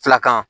Filakan